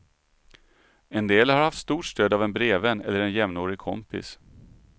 En del har haft stort stöd av en brevvän eller en jämnårig kompis.